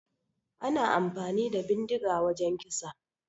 Ana amfani da bindiga wajan kisa